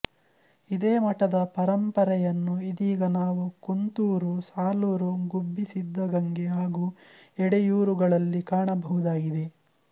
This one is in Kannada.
ಇದೇ ಮಠದ ಪರಂಪರೆಯನ್ನು ಇದೀಗ ನಾವು ಕುಂತೂರು ಸಾಲೂರು ಗುಬ್ಬಿಸಿದ್ದಗಂಗೆ ಹಾಗು ಎಡೆಯೂರುಗಳಲ್ಲಿ ಕಾಣಬಹುದಾಗಿದೆ